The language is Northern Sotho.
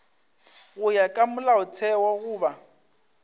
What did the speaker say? go ya ka molaotheo goba